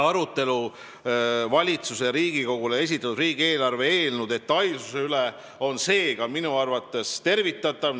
Arutelu valitsuse Riigikogule esitatud riigieelarve seaduse eelnõu detailsuse üle on minu arvates tervitatav.